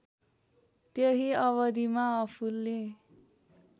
त्यही अबधिमा आफूले